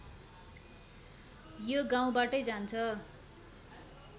यो गाउँबाटै जान्छ